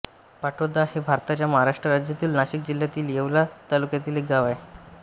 पाटोदा हे भारताच्या महाराष्ट्र राज्यातील नाशिक जिल्ह्यातील येवला तालुक्यातील एक गाव आहे